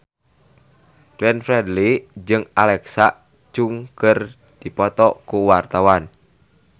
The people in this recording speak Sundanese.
Glenn Fredly jeung Alexa Chung keur dipoto ku wartawan